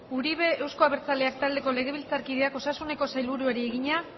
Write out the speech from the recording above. uribe euzko abertzaleak taldeko legebiltzarkideak osasuneko sailburuari egina